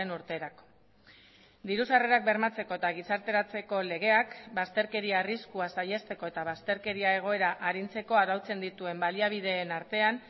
urterako diru sarrerak bermatzeko eta gizarteratzeko legeak bazterkeria arriskua saihesteko eta bazterkeria egoera arintzeko arautzen dituen baliabideen artean